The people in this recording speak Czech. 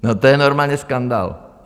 No to je normálně skandál!